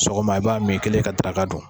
Sogoma i b'a min, i kɛlen ka daraka dun